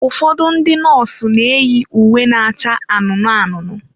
Ụfọdụ ndị nọọsụ na-eyi uwe na-acha anụnụ anụnụ.